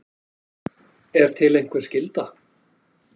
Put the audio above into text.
Er til einhver skylda?